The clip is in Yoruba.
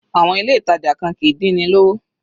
Àwọn ilé ìtàjà kan kìí dín ni lówó.